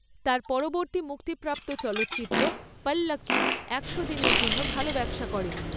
তাঁর পরবর্তী মুক্তিপ্রাপ্ত চলচ্চিত্র ‘পল্লক্কি’ একশো দিনের জন্য ভালো ব্যবসা করে।